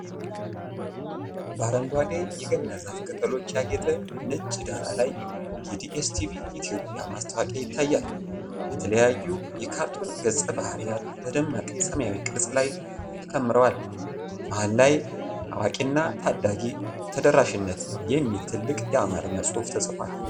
በአረንጓዴ የገና ዛፍ ቅጠሎች ያጌጠ ነጭ ዳራ ላይ የዲኤስቲቪ ኢትዮጵያ ማስታወቂያ ይታያል። የተለያዩ የካርቱን ገጸ-ባህሪያት በደማቅ ሰማያዊ ቅርጽ ላይ ተከምረዋል። መሃል ላይ "አዋቂና ታዳጊ ተደራሽነት" የሚል ትልቅ የአማርኛ ጽሑፍ ተጽፏል።